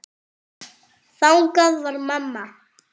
Þannig var mamma.